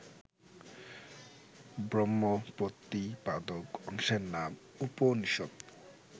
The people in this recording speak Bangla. ব্রহ্মপ্রতিপাদক অংশের নাম উপনিষৎ